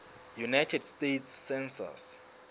united states census